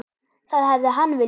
Það hefði hann viljað.